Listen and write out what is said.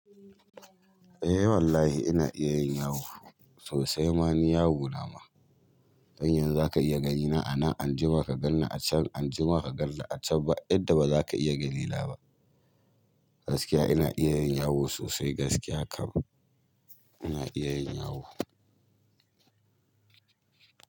Eh wallahi ina iya yin yawo sosai. Ma ni yawo na ma. Dan yanzu za ka iya gani na a nan, anjima ka ganni a can, anjima ka ganni a can. Ba inda bazaka iya ganina ba. Gaskiya ina iya yin yawo sosai gaskiya kam, ina iya yin yawo.